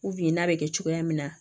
n'a bɛ kɛ cogoya min na